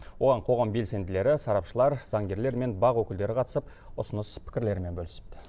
оған қоғам белсенділері сарапшылар заңгерлер мен бақ өкілдері қатысып ұсыныс пікірлерімен бөлісіпті